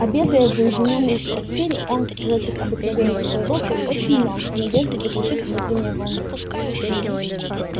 обедая в уединённом трактире он против обыкновения своего пил очень много в надежде заглушить внутреннее волнение